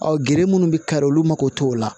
gere munnu bɛ kari olu mago t'o la